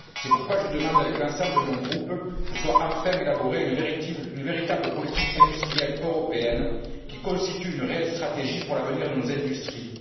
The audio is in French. C'est pourquoi je demande, avec l'ensemble de mon groupe, que soit enfin élaborée une véritable politique industrielle européenne, qui constitue une réelle stratégie pour l'avenir de nos industries.